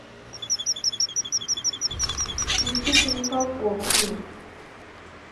никита михалков фильм